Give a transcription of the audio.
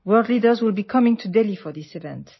ഈ പരിപാടിക്കായി ലോക നേതാക്കൾ ഡൽഹിയിലെത്തും